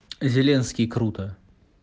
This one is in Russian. зеленский круто